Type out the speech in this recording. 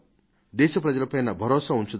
దేశ ప్రజల పైన భరోసా ఉంచుదాం